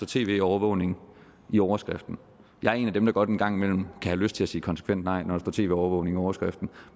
tv overvågning i overskriften jeg er en af dem der godt en gang imellem kan have lyst til at sige konsekvent nej når der står tv overvågning i overskriften